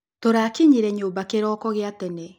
Tũrakinyire nyumba kĩroko gĩa tene